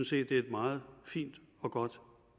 set et meget fint og godt